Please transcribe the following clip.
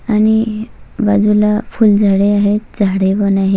आणि बाजूला फुलझाडे आहेत झाडे पण आहेत.